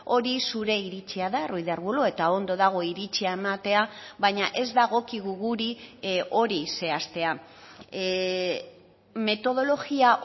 hori zure iritzia da ruiz de arbulo eta ondo dago iritzia ematea baina ez dagokigu guri hori zehaztea metodologia